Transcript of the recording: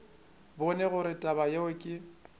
bone gore taba yeo ke